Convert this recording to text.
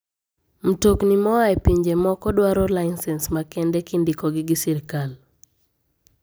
Mtokni moa e pinje moko dwaro lisens makende kindikogi gi sirkal.